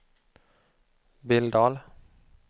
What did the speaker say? Billdal